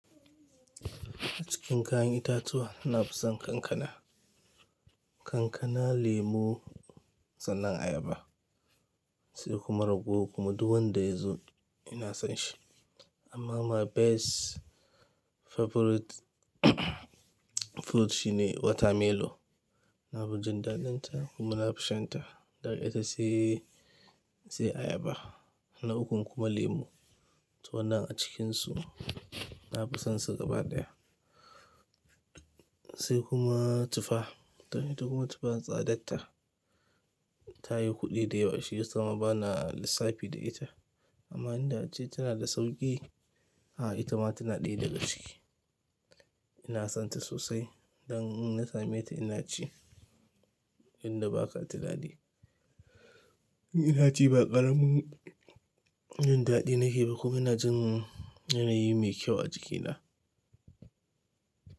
A cikin kayan itatuwa na fi son kankana. Kankana, lemo, sannan ayaba sai kuma ragowar kuma duk wanda ya zo ina son shi. Amma my best favorite fruit shine watermelon. Na fi jin daɗinta kuma na fi shan ta. Daga ita sai, sai ayaba na ukun kuma lemu. To wannan a cikinsu na fi son su gaba daya sai kuma tufa. To ita kuma tufa tsadatta, ta yi kuɗi da yawa shiyasa ma bana lissafi da ita. Amma inda ace tana da sauki, a'a ita ma tana ɗaya daga ciki. Ina son ta sosai. Dan in na same ta ina ci, inda baka tunani, in ina ci ba ƙaramin jin daɗi nake ba kuma ina jin yanayi mai kyau a jikina.